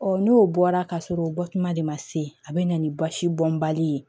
n'o bɔra ka sɔrɔ o bɔtuma de ma se a bɛ na ni basi bɔnbali ye